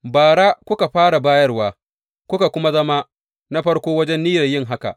Bara ku kuka fara bayarwa, kuka kuma zama na farko wajen niyyar yin haka.